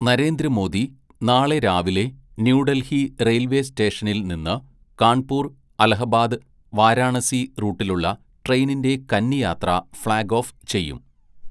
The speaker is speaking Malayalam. "നരേന്ദ്രമോദി നാളെ രാവിലെ ന്യൂഡല്‍ഹി റെയില്‍വേ സ്റ്റേഷനില്‍ നിന്ന് കാണ്‍പൂര്‍ അലഹബാദ് വാരാണസി റൂട്ടിലുള്ള ട്രെയിനിന്റെ കന്നിയാത്ര ഫ്‌ളാഗ് ഓഫ് ചെയ്യും. "